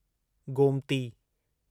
Gomti